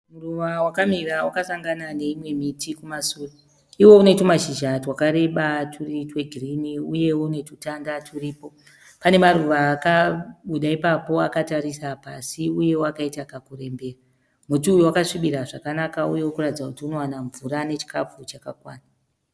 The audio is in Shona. Muruva wakamira wakasangana neimwe miti irikumashure. Iwo unetumashizha twakareba turi twegirinhi uye unetutanda turipo. Panemruva akabuda ipapo akatarisa pasi uyewo akaita kakurembera. Muti uyu unoratidza kuti unowana mvura uye nechikafu chakakwana.